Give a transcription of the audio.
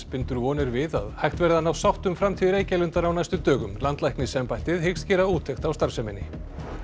bindur vonir við að hægt verði að ná sátt um framtíð Reykjalundar á næstu dögum landlæknisembættið hyggst gera úttekt á starfseminni